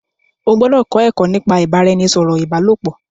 O gbọdọ kọ ẹkọ nípa ibaraẹnisọrọ ibalopo!